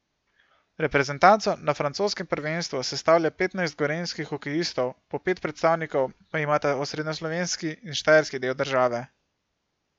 Reprezentanco na francoskem prvenstvu sestavlja petnajst gorenjskih hokejistov, po pet predstavnikov pa imata osrednjeslovenski in štajerski del države.